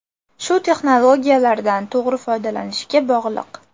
Shu texnologiyalardan to‘g‘ri foydalanishga bog‘liq.